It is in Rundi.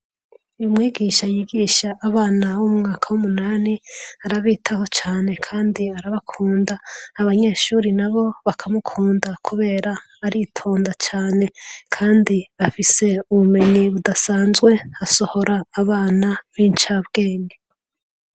Umwigisha yigisha abana bo mu mwaka w'umunani arabitaho cane kandi arabakunda, abanyeshure bakamukunda kubera aritonda cane kandi afise ubumenyi budasanzwe asohora abana b'incabwenge.